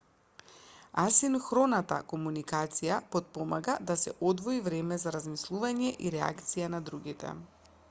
асинхроната комуникација потпомага да се одвои време за размислување и реакција на другите